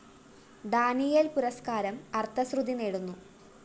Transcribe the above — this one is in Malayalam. ഡാനിയേല്‍ പുരസ്‌കാരം അര്‍ത്ഥശ്രുതി നേടുന്നു